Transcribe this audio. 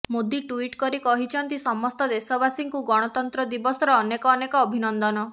Modi tweet କରି କହିଛନ୍ତି ସମସ୍ତ ଦେଶବାସୀଙ୍କୁ ଗଣତନ୍ତ୍ର ଦିବସର ଅନେକ ଅନେକ ଅଭିନନ୍ଦନ